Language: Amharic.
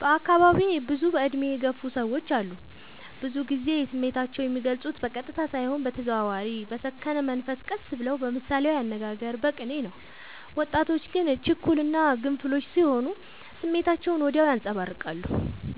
በአካባቢዬ ብዙ እድሜ የገፉ ሰዎች አሉ። ብዙ ግዜ ስሜታቸው የሚልፁት በቀጥታ ሳይሆን በተዘዋዋሪ በሰከነ መንፈስ ቀስ ብለው በምሳሌያዊ አነጋገር በቅኔ ነው። ወጣቶች ግን ችኩል እና ግንፍሎች ስሆኑ ስሜታቸውን ወዲያው ያንፀባርቃሉ።